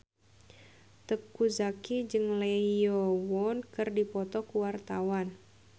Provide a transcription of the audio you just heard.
Teuku Zacky jeung Lee Yo Won keur dipoto ku wartawan